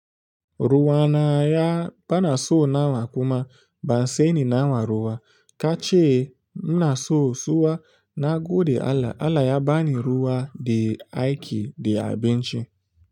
Ruwa na ya bana so nawa kuma ban saini nawa ruwa kace ina so suwa na go da Allah. Allah ya bani ruwa da aiki da abinci.